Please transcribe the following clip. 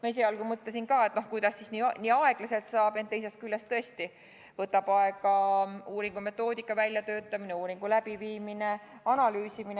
Ma mõtlesin esialgu ka, et kuidas siis nii aeglaselt saab, ent teisest küljest tõesti kõik võtab aega – uuringu metoodika väljatöötamine, uuring, selle analüüsimine jne.